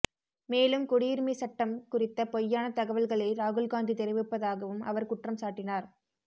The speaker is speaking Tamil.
மேலும் குடியுரிமை சட்டம் குறித்த பொய்யான தகவல்களை ராகுல்காந்தி தெரிவிப்பதாகவும் அவர் குற்றம்சாட்டினார்